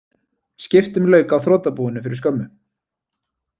Skiptum lauk á þrotabúinu fyrir skömmu